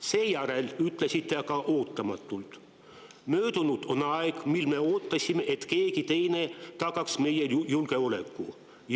Seejärel ütlesite aga ootamatult: "Möödunud on aeg, mil me ootasime, et keegi teine tagaks meie julgeoleku.